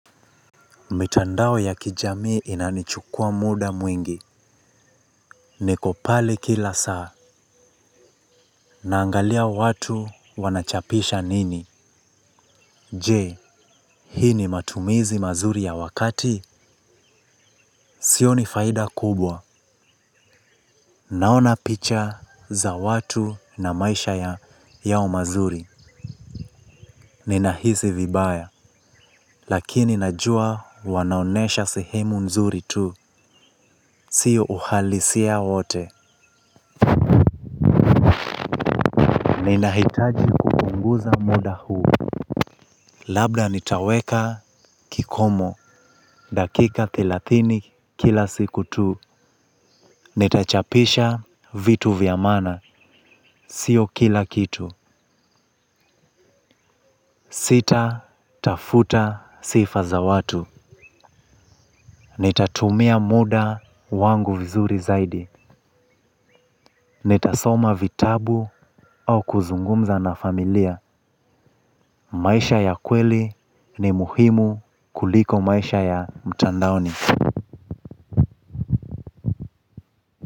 Mitandao ya kijami inanichukua muda mwingi. Niko pale kila saa. Naangalia watu wanachapisha nini. Je, hii ni matumizi mazuri ya wakati. Sio ni faida kubwa. Naona picha za watu na maisha yao mazuri. Ninahisi vibaya. Lakini najua wanaonesha sehemu nzuri tu. Sio uhalisia wote. Ninahitaji kupunguza muda huu. Labda nitaweka kikomo. Dakika thilathini kila siku tu. Ietachapisha vitu vyamana. Sio kila kitu. Sita tafuta sifa za watu. Nitatumia muda wangu vizuri zaidi. Netasoma vitabu au kuzungumza na familia. Maisha ya kweli ni muhimu kuliko maisha ya mtandaoni.